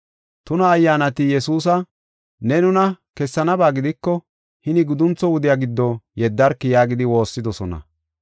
Tuna ayyaanati Yesuusa, “Ne nuna kessanaba gidiko, hini guduntho wudiya giddo yeddarki” yaagidi woossidosona.